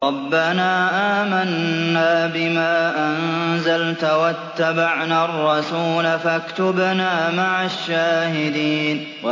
رَبَّنَا آمَنَّا بِمَا أَنزَلْتَ وَاتَّبَعْنَا الرَّسُولَ فَاكْتُبْنَا مَعَ الشَّاهِدِينَ